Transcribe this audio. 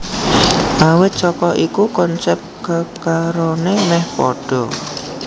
Awit saka iku konsep kekarone meh padha